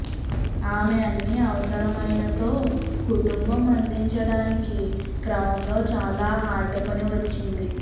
ఆమె అన్ని అవసరమైన తో కుటుంబం అందించడానికి క్రమంలో చాలా హార్డ్ పని వచ్చింది